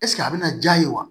a bɛ na diya ye wa